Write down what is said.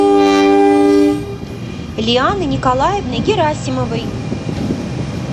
лианы николаевны герасимовой